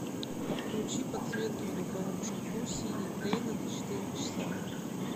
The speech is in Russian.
включи подсветки в духовом шкафу синий клейна на четыре часа